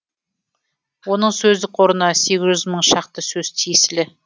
оның сөздік қорына сегіз жүз мың шақты сөз тиесілі